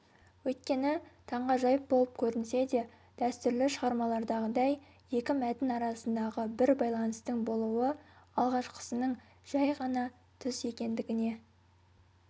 өйткені таңғажайып болып көрінсе де дәстүрлі шығармалардағыдай екі мәтін арасындағы бір байланыстың болуы алғашқысының жай ғана түс екендігіне